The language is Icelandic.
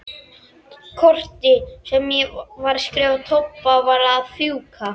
Kortið sem ég var að skrifa Tobba var að fjúka.